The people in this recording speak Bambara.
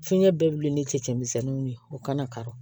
Fiɲɛ bɛɛ bi ni cɛ cɛ misɛnniw ye u kana kari